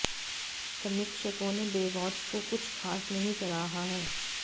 समीक्षकों ने बेवॉच को कुछ खास नहीं सराहा है